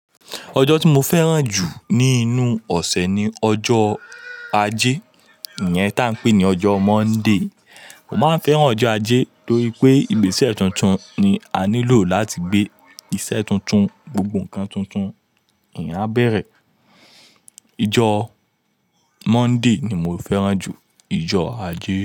Ojo ti mo fẹran ju ninu ọsẹ ni ọjọ Aje, iyẹn taa n pe ni ọjọ Monday. Mo ma n fẹran ọjọ Aje nitori pe igbeṣẹ tuntun ni a nilo lati gbe iṣẹ tuntun, gbogbo nkan tuntun, eyan a bẹrẹ. Ijo Monday ni mo fẹran ju, ijo Aje.